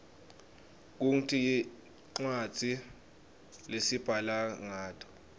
kungti rcwadzi lesibhala nqato